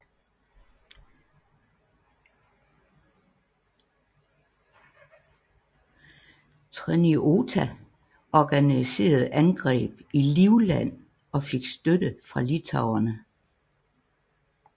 Treniota organiserede angreb i Livland og fik støtte fra litauerne